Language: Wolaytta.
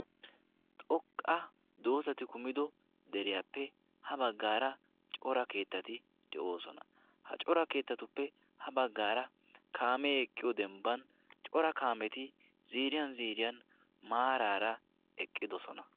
Xoqqa doosati kumido deriyaappe ha baggaara cora keettati de'oosona. ha cora keettatuppe ha baggaara kaamee eqqiyo dembban cora kaameti ziriyan ziriyan maaraara eqqidosona.